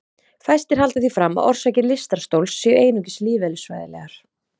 Fæstir halda því fram að orsakir lystarstols séu einungis lífeðlisfræðilegar.